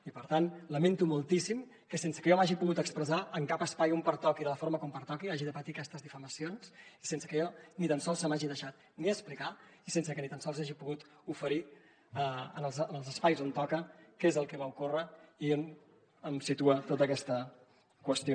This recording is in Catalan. i per tant lamento moltíssim que sense que jo m’hagi pogut expressar en cap espai on pertoqui i de la forma com pertoqui hagi de patir aquestes difamacions sense que a mi ni tan sols se m’hagi deixat ni explicar i sense que ni tan sols hagi pogut oferir en els espais on toca què és el que va ocórrer i on em situa tota aquesta qüestió